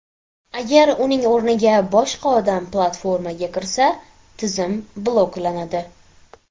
Agar uning o‘rniga boshqa odam platformaga kirsa, tizim bloklanadi.